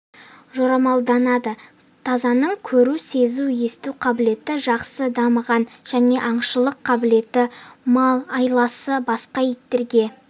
жорамалданады тазаның көру сезу есту қабілеті жақсы дамыған және аңшылық қабілеті амал-айласы басқа иттерге